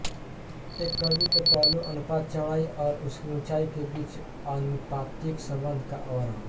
एक छवि के पहलू अनुपात चौड़ाई और उसकी ऊंचाई के बीच आनुपातिक संबंध का वर्णन